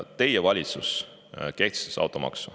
Teie valitsus kehtestas automaksu.